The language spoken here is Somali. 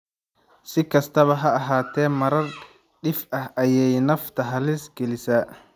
Si kastaba ha ahaatee, marar dhif ah ayay nafta halis gelisaa.